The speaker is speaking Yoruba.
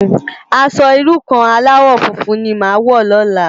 Aṣò irú kàn álàwò fúnfún ni má wò lòlá